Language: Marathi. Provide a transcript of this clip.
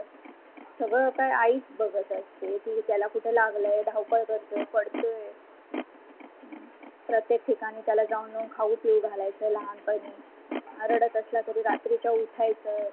सगळं कहि आईच बघत असते, ती त्याला कुठ लागल धावपळ करते पड़ते अह प्रत्येक ठिकाणी त्याला नेउन खाउ पिउ घालयच लाहनपनी रडत असलं तरि रात्रीचा उठायचं,